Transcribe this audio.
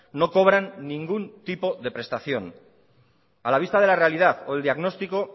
no cobran ningún tipo de prestación a la vista de la realidad o del diagnóstico